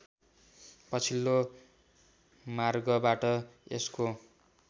पछिल्लो मार्गवाट यसको